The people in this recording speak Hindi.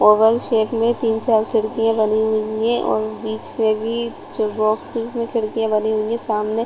ओवल शेप में तीन चार खिड़कियाँ लगी हुईं हैं और बीच में भी जो बॉक्सेस में खिड़कियाँ बनी हुईं हैं सामने